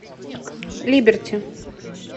либерти